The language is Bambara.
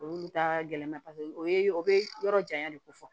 Olu ta gɛlɛn na o ye o be yɔrɔ janya de ko fɔ